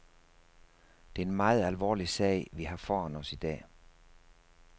Det er en meget alvorlig sag, vi har foran os i dag.